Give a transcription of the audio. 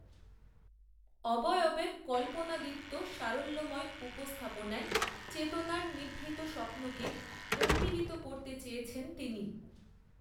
অবয়বের কল্পনাদীপ্ত সারল্যময় উপস্থাপনায় চেতনার, নিভৃত স্বপ্নকে, উন্মীলিত করতে চেয়েছেন তিনি